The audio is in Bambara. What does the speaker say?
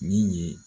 Min ye